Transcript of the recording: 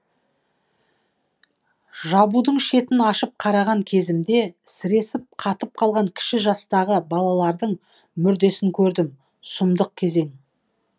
жабудың шетін ашып қараған кезімде сіресіп қатып қалған кіші жастағы балалардың мүрдесін көрдім сұмдық кезең